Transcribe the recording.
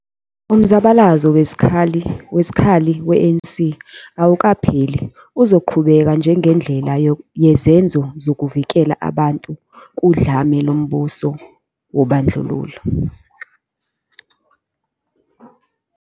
umzabalazo wezikhali we-ANC awukapheli uzoqhubeka njengendlela yezenzo zokuvikela abantu kudlame lombuso wobandlululo.